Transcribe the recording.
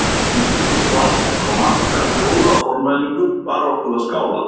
Eftir mikið svalk og marga hljóða formælingu bar okkur að skála